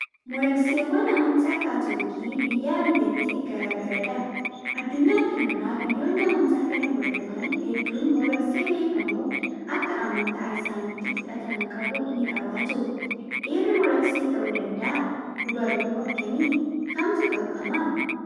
Molokseewwan amantaa kaatolikii biyyaa biyyatti garaagaradha. Addunyaa kanarraa biyyooni amantaa kana hordofan hedduun moloksee beekamoo akka amantaa isaaniitti fudhatama qabu ni qabaatu. Dhiirri moloksee ta'uu danda'aa? Dubarri hoo akkami? Kamtu dhorkama?